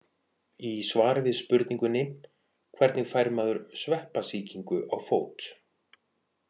Í svari við spurningunni Hvernig fær maður sveppasýkingu á fót?